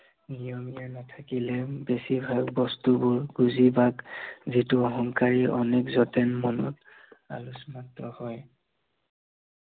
নিয়মীয়া নাথাকিলে বেছি ভাল বস্তুবোৰ বুজি বা, যিটো অহংকাৰী অনেক যাতে মনত হয়।